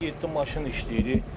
Yeddi maşın işləyir.